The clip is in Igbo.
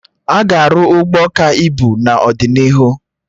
Aga arụ Ụgbọ ka ibu n'ọdịnihu